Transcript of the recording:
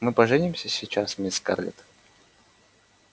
мы поженимся сейчас мисс скарлетт